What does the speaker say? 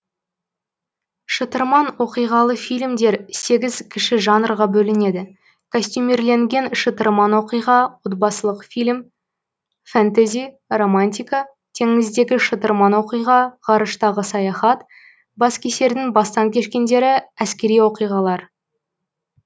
шытырман оқиғалы фильмдер сегіз кіші жанрға бөлінеді костюмирленген шытырман оқиға отбасылық фильм фэнтези романтика теңіздегі шытырман оқиға ғарыштағы саяхат баскесердің бастан кешкендері әскери оқиғалар